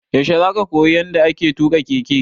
Yaushe za ka koyi yanda ake tuƙa keke?